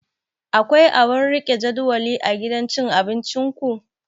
Akwai abun rike jadawali a gidan cin abinciku?